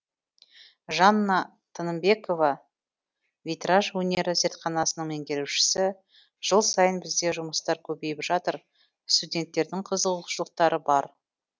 жанна тыныбекова витраж өнері зертханасының меңгерушісі жыл сайын бізде жұмыстар көбейіп жатыр студенттердің қызығушылықтары бар